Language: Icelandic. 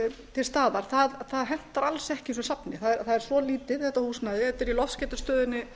til staðar hentar alls ekki þessu safni það er svo lítið þetta húsnæði það er í loftskeytastöðinni